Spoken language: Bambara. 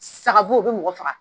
Saga bo, o bɛ mɔgɔ faga.